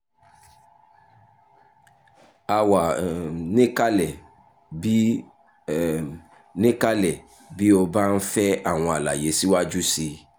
a wà um níkàlẹ̀ bí um níkàlẹ̀ bí o bá ń fẹ́ àwọn àlàyé síwájú sí i